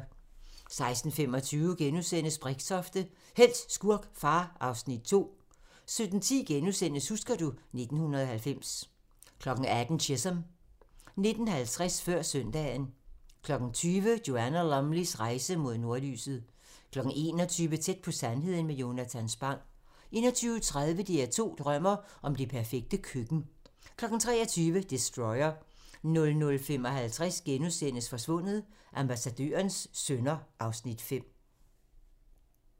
16:25: Brixtofte – helt, skurk, far (Afs. 2)* 17:10: Husker du ... 1990 * 18:00: Chisum 19:50: Før søndagen 20:00: Joanna Lumleys rejse mod nordlyset 21:00: Tæt på sandheden med Jonatan Spang 21:30: DR2 drømmer om det perfekte køkken 23:00: Destroyer 00:55: Forsvundet: Ambassadørens sønner (Afs. 5)*